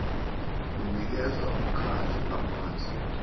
unikeza umkhandlu amandla